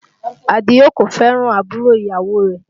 Àdìó kò fẹ́ràn àbúrò ìyàwó rẹ̀